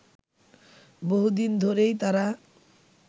বহুদিন ধরেই তারা